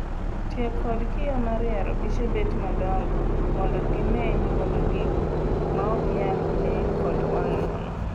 Tiyo kod kiyoo mar yaro piche bet madongo mondo gimeny godo gigo maok nyal nee kod wang' nono.